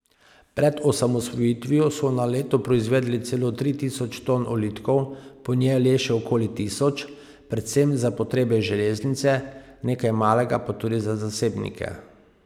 Pred osamosvojitvijo so na leto proizvedli celo tri tisoč ton ulitkov, po njej le še okoli tisoč, predvsem za potrebe železnice, nekaj malega pa tudi za zasebnike.